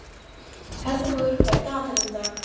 Herþrúður, hvað er í dagatalinu í dag?